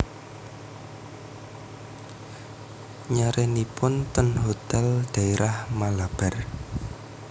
Nyarenipun ten hotel daerah Malabar